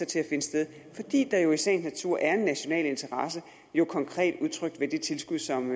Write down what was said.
til at finde sted fordi der jo i sagens natur er en national interesse jo konkret udtrykt ved det tilskud som